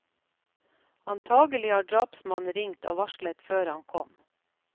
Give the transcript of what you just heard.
Antakelig har drapsmannen ringt og varslet før han kom.